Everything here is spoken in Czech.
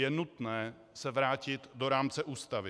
Je nutné se vrátit do rámce Ústavy.